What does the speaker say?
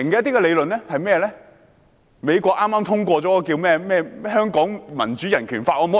就是美國剛通過的《香港民主及人權法案》。